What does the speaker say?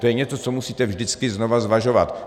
To je něco, co musíte vždycky znova zvažovat.